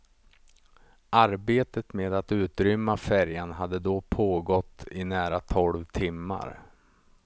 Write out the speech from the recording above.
Arbetet med att utrymma färjan hade då pågått i nära tolv timmar.